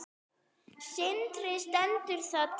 Sindri: Stendur það til?